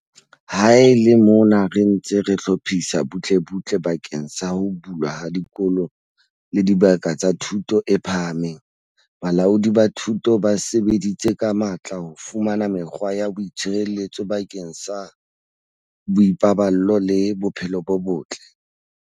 Ha e le mona re ntse re hlophisa butlebutle bakeng sa ho bulwa ha dikolo le dibaka tsa thuto e phahameng, balaodi ba thuto ba sebeditse ka matla ho fumana mekgwa ya boitshireletso bakeng sa boipaballo le bophelo bo botle.